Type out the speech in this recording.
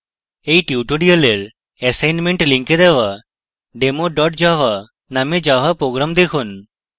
এই tutorial assignment link দেওয়া demo java named java program দেখুন